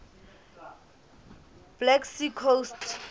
black sea coast